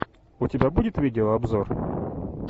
у тебя будет видеообзор